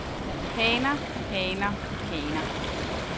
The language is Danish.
haner haner haner